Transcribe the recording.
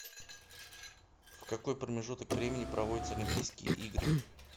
в какой промежуток времени проводятся олимпийские игры